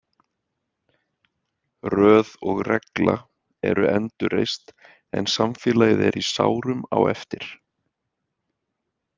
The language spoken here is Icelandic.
„Röð og regla“ eru endurreist en samfélagið er í sárum á eftir.